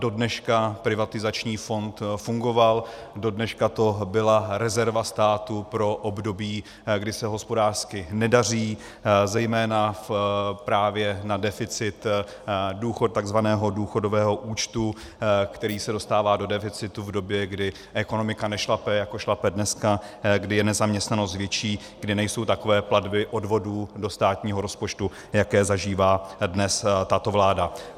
Dodneška privatizační fond fungoval, dodneška to byla rezerva státu pro období, kdy se hospodářsky nedaří, zejména právě na deficit tzv. důchodového účtu, který se dostává do deficitu v době, kdy ekonomika nešlape, jako šlape dneska, kdy je nezaměstnanost větší, kdy nejsou takové platby odvodů do státního rozpočtu, jaké zažívá dnes tato vláda.